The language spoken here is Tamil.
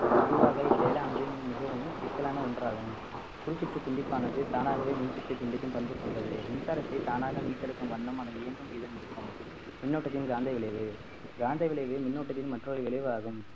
பொதுவாகவே இச்செயலானது மிகவும் சிக்கலான ஒன்றாகும் குரு சுற்று துண்டிப்பானது தானாகவே மின் சுற்றி துண்டிக்கும் பண்பு கொண்டது மின்சாரத்தை தானாக மீட்டெடுக்கும் வண்ணம் அது இயங்கும் விதம் இருக்கும் மின்னோட்டத்தின் காந்த விளைவு காந்த விளைவு மின்னோட்டத்தின் மற்றொரு விளைவாகும்